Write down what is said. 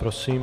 Prosím.